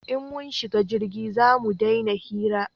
In mun shiga jirgi zamu dena hira